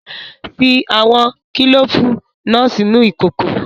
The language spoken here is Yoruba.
Fi awọn kilofu naa sinu ikoko